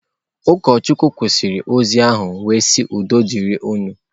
Ụkọchukwu kwụsịrị ozi ahụ wee sị udo dịrị unu.